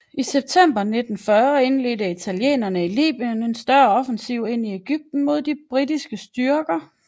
I september 1940 indledte italienerne i Libyen en større offensiv ind i Egypten mod de britiske styrker der